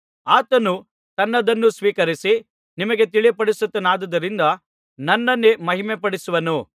ಆತನು ನನ್ನದನ್ನು ಸ್ವೀಕರಿಸಿ ನಿಮಗೆ ತಿಳಿಯಪಡಿಸುತ್ತಾನಾದ್ದರಿಂದ ನನ್ನನ್ನೇ ಮಹಿಮೆಪಡಿಸುವನು